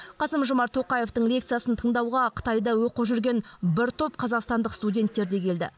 қасым жомарт тоқаевтың лекциясын тыңдауға қытайда оқып жүрген бір топ қазақстандық студенттер де келді